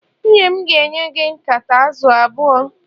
nwunye m ga-enye gị nkata azụ̀ abụọ